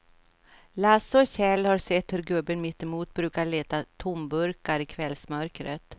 Lasse och Kjell har sett hur gubben mittemot brukar leta tomburkar i kvällsmörkret.